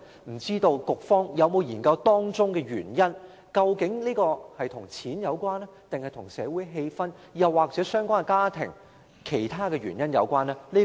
不知道局方有否研究箇中原因，究竟是與金錢有關，還是與社會氣氛、相關家庭或其他原因有關呢？